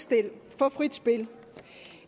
spil